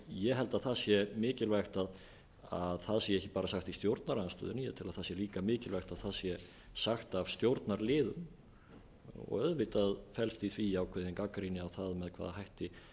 ég held að það sé mikilvægt að það sé ekki bara sagt í stjórnarandstöðunni ég held að það sé líka mikilvægt að það sagt af stjórnarliðum auðvitað felst í því ákveðin gagnrýni á það með hvaða hætti